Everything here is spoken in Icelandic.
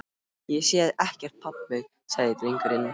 Ég sé ekkert pabbi, sagði drengurinn.